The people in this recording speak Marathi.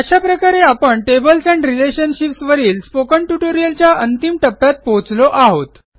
अशा प्रकारे आपण टेबल्स एंड रिलेशनशिप्स वरील स्पोकन ट्युटोरियलच्या अंतिम टप्प्यात पोहोचलो आहोत